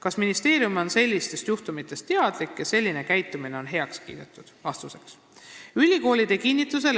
Kas ministeerium on sellistest juhtumitest teadlik ja selline käitumine on heaks kiidetud?